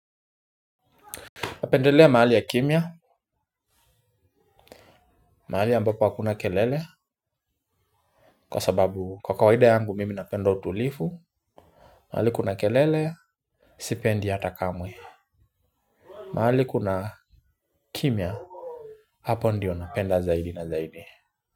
Napendelea mahali ya kimya, mahali ambapo hakuna kelele, kwa sababu kwa kawaida yangu mimi napenda utulivu, mahali kuna kelele, sipendi hata kamwe, mahali kuna kimya, hapo ndio napenda zaidi na zaidi.